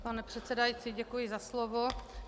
Pane předsedající, děkuji za slovo.